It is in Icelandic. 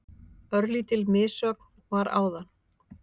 Örlítil missögn var áðan.